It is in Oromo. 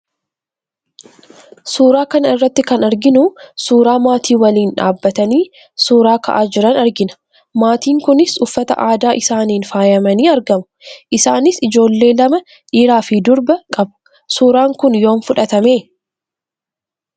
Suuraa kana irratti kan arginu suuraa maatii waliin dhaabbatanii suuraa ka'aa jiran argina. Maatiin kunis uffata aadaa isaaniin faayamanii argamu. Isaanis ijoollee lama dhiiraa fi durba qabu. Suuraan kun yoom fudhatame?